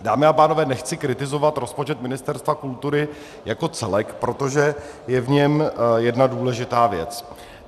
Dámy a pánové, nechci kritizovat rozpočet Ministerstva kultury jako celek, protože je v něm jedna důležitá věc.